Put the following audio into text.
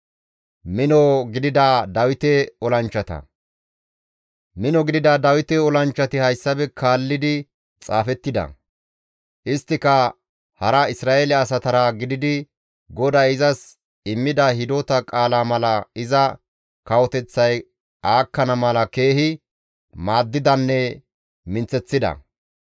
Mino gidida Dawite olanchchati hayssafe kaallidi xaafettida; isttika hankko Isra7eele asatara gididi GODAY izas immida hidota qaala mala iza kawoteththay aakkana mala keehi maaddidanne minththeththida.